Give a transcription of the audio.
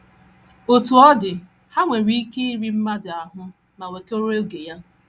Otú ọ dị, ha nwere ike iri mmadụ ahụ́ ma wekọrọ oge ya.